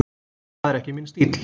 Það er ekki minn stíll.